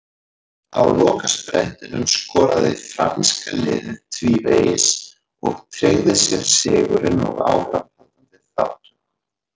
Á lokasprettinum skoraði franska liðið tvívegis og tryggði sér sigurinn og áframhaldandi þátttöku.